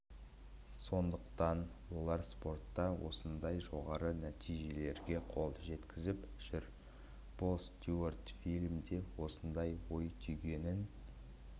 сондықтан олар спортта осындай жоғары нәтижелерге қол жеткізіп жүр пол стюарт фильмде осындай ой түйгенін